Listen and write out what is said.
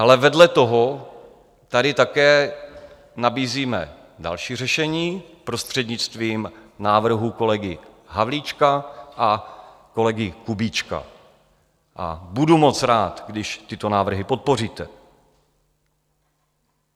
Ale vedle toho tady také nabízíme další řešení prostřednictvím návrhů kolegy Havlíčka a kolegy Kubíčka a budu moc rád, když tyto návrhy podpoříte.